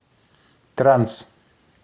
транс